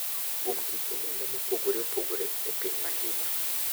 kuom kit oganda mopogore opogore e piny mangima.